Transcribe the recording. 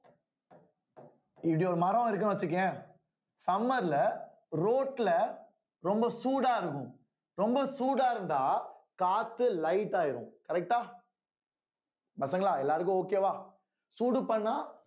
இப்படி ஒரு மரம் இருக்குன்னு வச்சுக்கயேன் summer ல road ல ரொம்ப சூடா இருக்கும் ரொம்ப சூடா இருந்தா காத்து light ஆயிரும் correct ஆ பசங்களா எல்லாருக்கும் okay வா சூடு பண்ணா